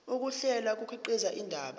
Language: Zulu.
ukuhlela kukhiqiza indaba